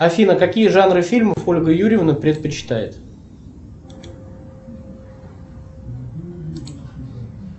афина какие жанры фильмов ольга юрьевна предпочитает